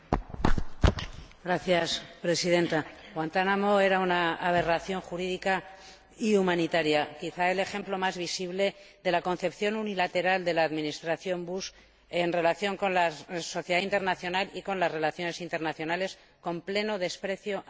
Señora Presidenta, Guantánamo era una aberración jurídica y humanitaria, quizás el ejemplo más visible de la concepción unilateral de la Administración Bush en relación con la sociedad internacional y con las relaciones internacionales, con pleno desprecio del Derecho internacional.